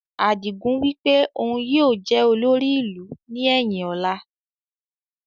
Adigun wípé òun yìí ó jẹ̀ olórí ìlú ni ẹyin ọ̀la